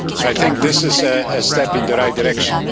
I think this is a step in the right direction.